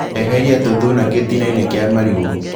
Eheria tuthuna gĩtinainĩ kĩa marigũ.